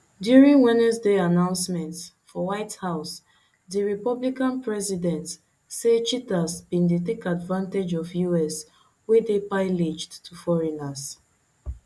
during wednesday announcement for white house di republican president say cheaters bin dey take advantage of us wey dey pillaged by foreigners